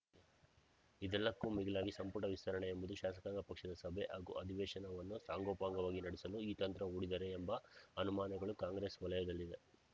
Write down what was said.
ಇದೆಲ್ಲಕ್ಕೂ ಮಿಗಿಲಾಗಿ ಸಂಪುಟ ವಿಸ್ತರಣೆ ಎಂಬುದು ಶಾಸಕಾಂಗ ಪಕ್ಷದ ಸಭೆ ಹಾಗೂ ಅಧಿವೇಶನವನ್ನು ಸಾಂಗೋಪಾಂಗವಾಗಿ ನಡೆಸಲು ಈ ತಂತ್ರ ಹೂಡಿದರೇ ಎಂಬ ಅನುಮಾನಗಳು ಕಾಂಗ್ರೆಸ್‌ ವಲಯದಲ್ಲಿದೆ